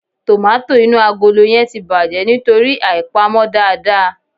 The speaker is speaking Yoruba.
Tòmátò inú agolo yẹn ti bàjẹ́ nítorí àìpamọ́ dáadáa.